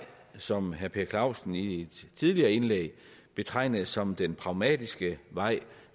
som herre per clausen i et tidligere indlæg betegnede som den pragmatiske vej